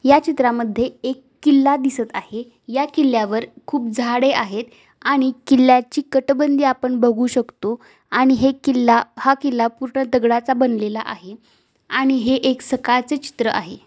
या चित्रा मध्ये एक किल्ला दिसत आहे. या किल्ल्या वर खूप झाडे आहेत. आणि किल्ल्याची कटबंदी आपण बघू शकतो आणि हे किल्ला हा किल्ला पूर्ण दगडाचा बनलेला आहे. आणि हे एक सकाळचे चित्र आहे.